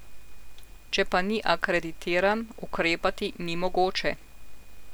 Če pa ni akreditiran, ukrepati ni mogoče.